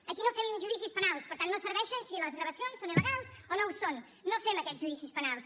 aquí no fem judicis penals per tant no serveixen si les gravacions són il·legals o no ho són no fem aquests judicis penals